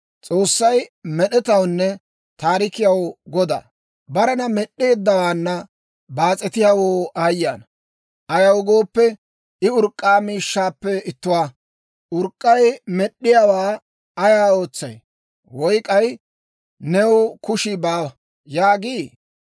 «Barena Med'd'eeddawaana baas'etiyaawoo aayye ana! Ayaw gooppe, I urk'k'a miishshaappe ittuwaa. Urk'k'ay med'd'iyaawaa, ‹Ay ootsay?› woy k'ay, ‹New kushii baawa› yaagii?